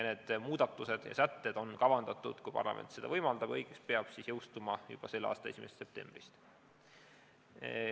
Need muudatused ja sätted on kavandatud, kui parlament seda võimaldab, jõustuma selle aasta 1. septembril.